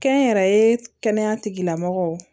Kɛnyɛrɛye kɛnɛya tigilamɔgɔw